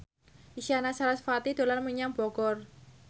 Isyana Sarasvati dolan menyang Bogor